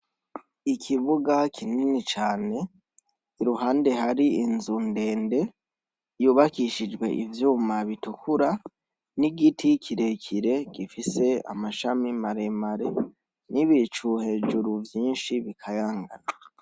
Ikibuga kinini cane iruhande hari inzu ndende yubakishijwe ivyuma bitukura nigiti kirekire gifise amashami maremare nibicu hejuru vyinshi bikayangana.